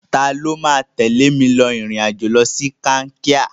Tani ó máa tẹ̀lé mi rìnrìn-àjò lọ sí Kankia?